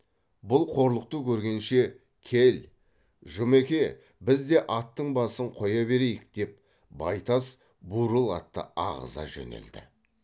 бұл қорлықты көргенше кел жұмеке біз де аттың басын қоя берейік деп байтас бурыл атты ағыза жөнелді